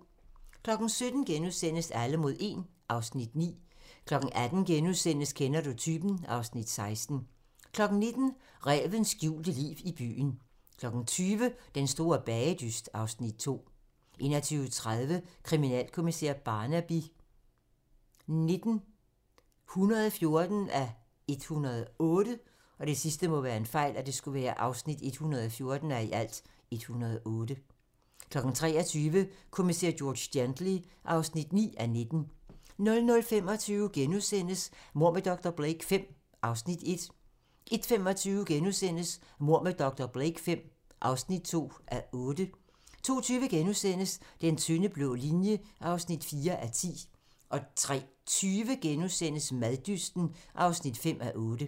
17:00: Alle mod 1 (Afs. 9)* 18:00: Kender du typen? (Afs. 16)* 19:00: Rævens skjulte liv i byen 20:00: Den store bagedyst (Afs. 2) 21:30: Kriminalkommissær Barnaby XIX (114:108) 23:00: Kommissær George Gently (9:19) 00:25: Mord med dr. Blake V (1:8)* 01:25: Mord med dr. Blake V (2:8)* 02:20: Den tynde blå linje (4:10)* 03:20: Maddysten (5:8)*